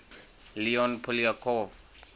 leon poliakov